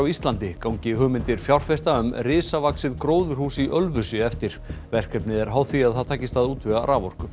Íslandi gangi hugmyndir fjárfesta um risavaxið gróðurhús í Ölfusi eftir verkefnið er háð því að það takist að útvega raforku